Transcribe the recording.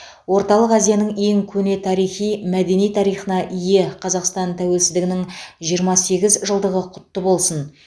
орталық азияның ең көне тарихи мәдени тарихына ие қазақстан тәуелсіздігінің жиырма сегіз жылдығы құтты болсын